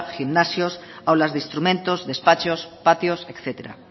gimnasios aulas de instrumentos despachos patios etcétera